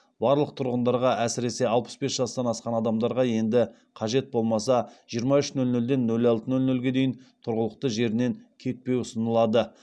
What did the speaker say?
барлық тұрғындарға әсіресе алпыс бес жастан асқан адамдарға енді қажет болмаса жиырма үш нөл нөлден нөл алты нөл нөлге дейін тұрғылықты жерінен кетпеу ұсынылады